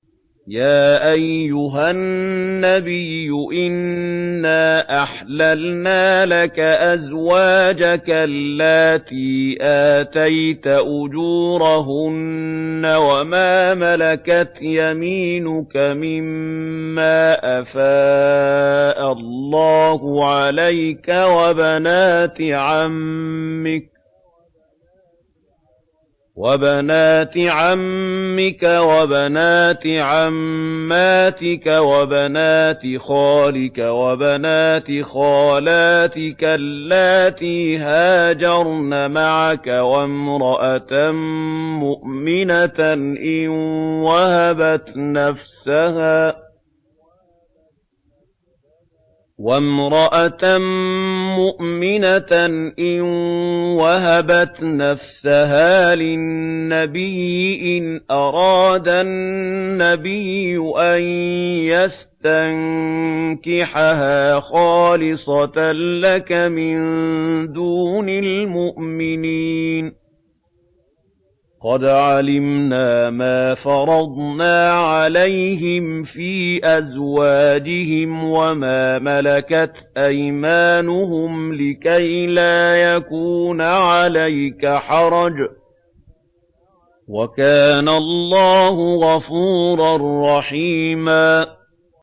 يَا أَيُّهَا النَّبِيُّ إِنَّا أَحْلَلْنَا لَكَ أَزْوَاجَكَ اللَّاتِي آتَيْتَ أُجُورَهُنَّ وَمَا مَلَكَتْ يَمِينُكَ مِمَّا أَفَاءَ اللَّهُ عَلَيْكَ وَبَنَاتِ عَمِّكَ وَبَنَاتِ عَمَّاتِكَ وَبَنَاتِ خَالِكَ وَبَنَاتِ خَالَاتِكَ اللَّاتِي هَاجَرْنَ مَعَكَ وَامْرَأَةً مُّؤْمِنَةً إِن وَهَبَتْ نَفْسَهَا لِلنَّبِيِّ إِنْ أَرَادَ النَّبِيُّ أَن يَسْتَنكِحَهَا خَالِصَةً لَّكَ مِن دُونِ الْمُؤْمِنِينَ ۗ قَدْ عَلِمْنَا مَا فَرَضْنَا عَلَيْهِمْ فِي أَزْوَاجِهِمْ وَمَا مَلَكَتْ أَيْمَانُهُمْ لِكَيْلَا يَكُونَ عَلَيْكَ حَرَجٌ ۗ وَكَانَ اللَّهُ غَفُورًا رَّحِيمًا